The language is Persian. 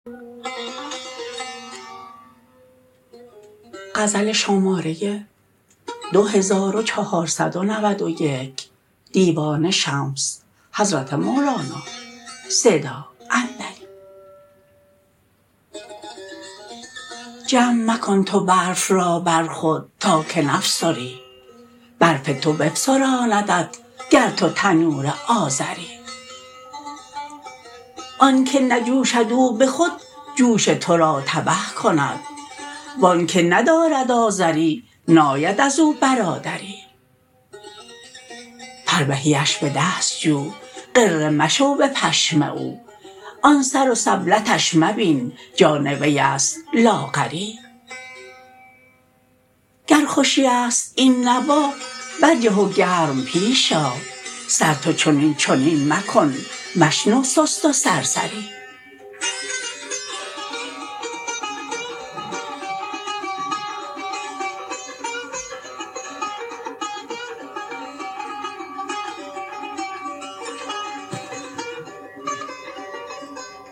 جمع مکن تو برف را بر خود تا که نفسری برف تو بفسراندت گر تو تنور آذری آنک نجوشد او به خود جوش تو را تبه کند و آنک ندارد آذری ناید از او برادری فربهیش به دست جو غره مشو به پشم او آن سر و سبلتش مبین جان وی است لاغری گر خوشی است این نوا برجه و گرم پیش آ سر تو چنین چنین مکن مشنو سست و سرسری